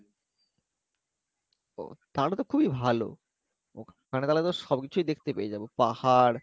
ও তাহলে তো খুবই ভালো আমরা তালে তো সবকিছুই দেখতে পেয়ে যাবো পাহাড়,